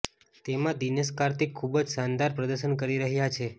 તેમાં દિનેશ કાર્તિક ખુબ જ શાનદાર પ્રદર્શન કરી રહ્યા છે